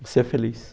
Você é feliz.